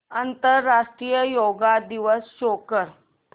आंतरराष्ट्रीय योग दिवस शो कर